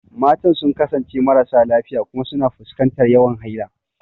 Matan sun kasance marasa lafiya kuma suna fuskantar yawan haila.